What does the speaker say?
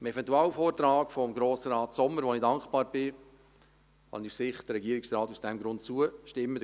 Dem Eventualantrag von Grossrat Sommer, für den ich dankbar bin, kann ich aus Sicht des Regierungsrates aus diesem Grund zustimmen.